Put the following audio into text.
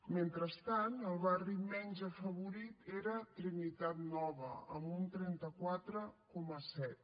mentrestant el barri menys afavorit era trinitat nova amb un trenta quatre coma set